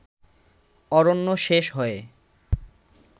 অরণ্য শেষ হয়ে